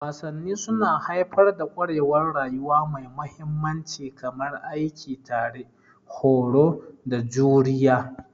Wasanni suna haifar da ƙwarewar rayuwa mai mahimmanci kamar aiki tare, horo, da juriya.